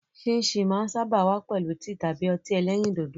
Síìnsìn máa ń sáábà wá pẹ̀lú tíì tàbí ọtí ẹlẹ́rìndòdò.